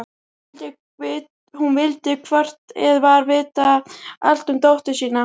Hún vildi hvort eð var vita allt um dóttur sína.